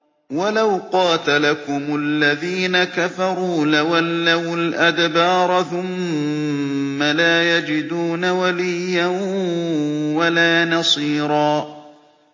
وَلَوْ قَاتَلَكُمُ الَّذِينَ كَفَرُوا لَوَلَّوُا الْأَدْبَارَ ثُمَّ لَا يَجِدُونَ وَلِيًّا وَلَا نَصِيرًا